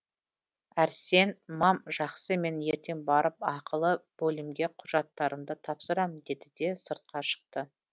әрсен мам жақсы мен ертең барып ақылы бөлімге құжаттарымды тапсырам деді де сыртқа шықты